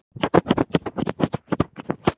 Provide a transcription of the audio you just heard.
Sveinbjörn, hvaða leikir eru í kvöld?